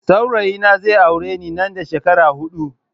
Saurayi na zai aure ni nan da shekara hudu